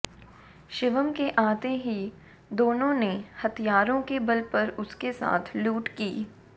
शिवम के आते ही दोनों ने हथियारों के बल पर उसके साथ लूट की